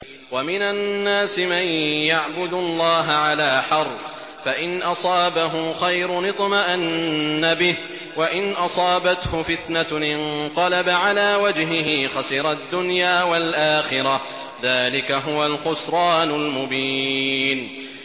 وَمِنَ النَّاسِ مَن يَعْبُدُ اللَّهَ عَلَىٰ حَرْفٍ ۖ فَإِنْ أَصَابَهُ خَيْرٌ اطْمَأَنَّ بِهِ ۖ وَإِنْ أَصَابَتْهُ فِتْنَةٌ انقَلَبَ عَلَىٰ وَجْهِهِ خَسِرَ الدُّنْيَا وَالْآخِرَةَ ۚ ذَٰلِكَ هُوَ الْخُسْرَانُ الْمُبِينُ